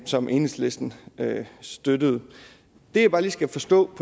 som enhedslisten støttede det jeg bare lige skal forstå